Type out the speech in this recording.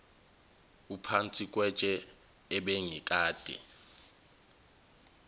uphansi kwetshe ebengikade